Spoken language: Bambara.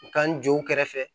U ka n jɔ u kɛrɛfɛ